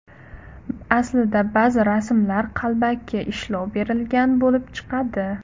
Aslida ba’zi rasmlar qalbaki ishlov berilgan bo‘lib chiqadi.